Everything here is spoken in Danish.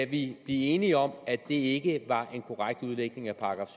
blive enige om at det ikke var en korrekt udlægning af §